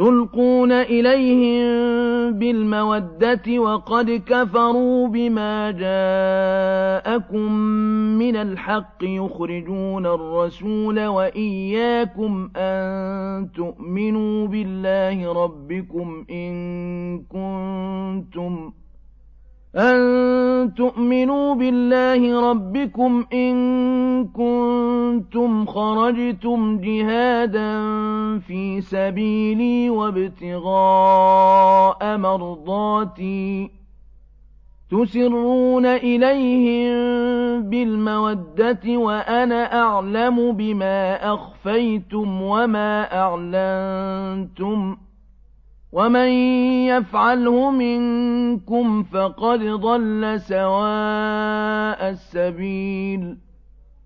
تُلْقُونَ إِلَيْهِم بِالْمَوَدَّةِ وَقَدْ كَفَرُوا بِمَا جَاءَكُم مِّنَ الْحَقِّ يُخْرِجُونَ الرَّسُولَ وَإِيَّاكُمْ ۙ أَن تُؤْمِنُوا بِاللَّهِ رَبِّكُمْ إِن كُنتُمْ خَرَجْتُمْ جِهَادًا فِي سَبِيلِي وَابْتِغَاءَ مَرْضَاتِي ۚ تُسِرُّونَ إِلَيْهِم بِالْمَوَدَّةِ وَأَنَا أَعْلَمُ بِمَا أَخْفَيْتُمْ وَمَا أَعْلَنتُمْ ۚ وَمَن يَفْعَلْهُ مِنكُمْ فَقَدْ ضَلَّ سَوَاءَ السَّبِيلِ